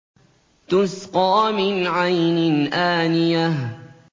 تُسْقَىٰ مِنْ عَيْنٍ آنِيَةٍ